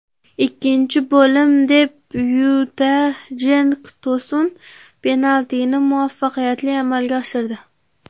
Ikkinchi bo‘lim debyutida Jenk To‘sun penaltini muvaffaqiyatli amalga oshirdi.